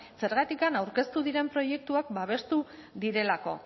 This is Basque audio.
zergatikan aurkeztu diren proiektuak babestu direlako